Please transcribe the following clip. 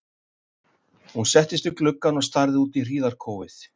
Hún settist við gluggann og starði út í hríðarkófið.